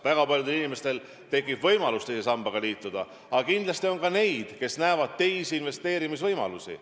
Väga paljudel inimestel tekib võimalus teise sambaga liituda, aga kindlasti on ka neid, kes näevad teisi investeerimisvõimalusi.